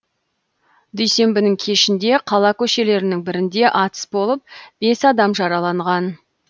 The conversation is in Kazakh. дүйсенбінің кешінде қала көшелерінің бірінде атыс болып бес адам жараланған